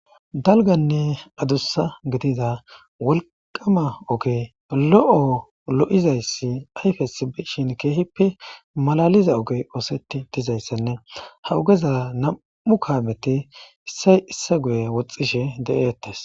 dalganne adussa gidida wolqama ogey lo7o lo7izayssi ayfes shin keehippe malaliza ogey ooseti dizayssenne ha ugeza nam7u kaameti issay isse guye woxxishe de7eettes